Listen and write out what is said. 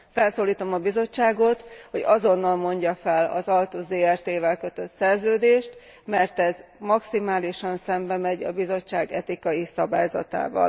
Felszólítom a Bizottságot, hogy azonnal mondja fel az Altus Zrt vel kötött szerződést, mert ez maximálisan szembemegy a Bizottság etikai szabályzatával.